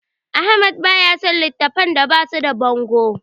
Ahmad baya son littattafan da basu da bango.